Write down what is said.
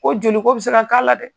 Ko joliko bi se ka k'a la dɛ!